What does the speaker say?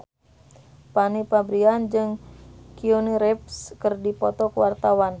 Fanny Fabriana jeung Keanu Reeves keur dipoto ku wartawan